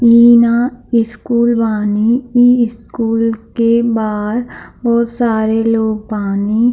इहाँ यह स्कूल बानी इ स्कूल के बाहर बहुत सारे लोग बानी।